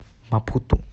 мапуту